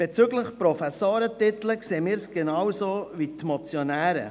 Bezüglich der Professorentitel sehen wir es genauso wie die Motionäre.